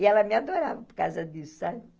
E ela me adorava por causa disso, sabe?